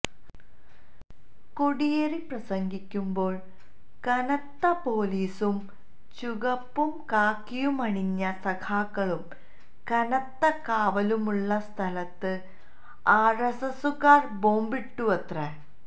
കോടിയേരി പ്രസംഗിക്കുമ്പോള് കനത്ത പോലീസും ചുകപ്പും കാക്കിയുമണിഞ്ഞ സഖാക്കളും കനത്ത കാവലുമുള്ള സ്ഥലത്ത് ആര്എസ്എസുകാര് ബോംബിട്ടുവത്രേ